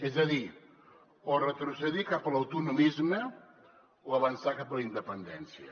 és a dir o retrocedir cap a l’autonomisme o avançar cap a la independència